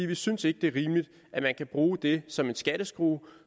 vi synes ikke det er rimeligt at man kan bruge det som en skatteskrue